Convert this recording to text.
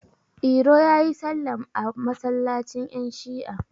iro ya yi sallam a masallacin yanShi'a